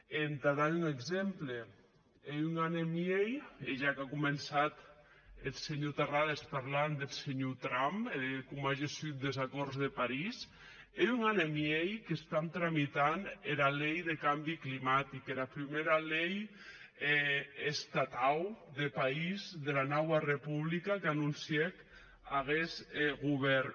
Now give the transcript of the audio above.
e entà dar un exemple hè un an e miei e ja qu’a començat eth senhor terrades parlant deth senhor trump e de com a gessut des acòrds de parís hè un an e miei que tramitam era lei deth cambi climatic era prumèra lei estatau de país dera naua republica qu’anoncièc aguest govèrn